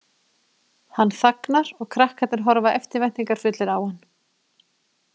Hann þagnar og krakkarnir horfa eftirvæntingarfullir á hann.